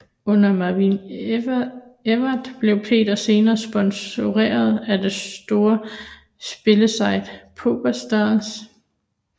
Under Main Event blev Peter senere sponsoreret af det store spilsite PokerStars